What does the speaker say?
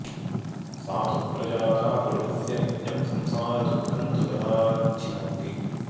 सा तु प्रजाता पुरुषस्य नित्यं संसारदुःखं तु तदाच्छिनत्ति